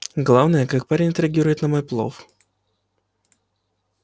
главное как парень отреагирует на мой плов